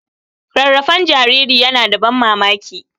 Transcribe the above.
Rarrafen jariri yana da ban mamaki.